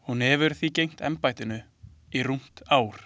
Hún hefur því gegnt embættinu í rúmt ár.